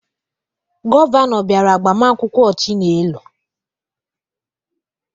Gọvanọ bịara agbamakwụkwọ Chinelo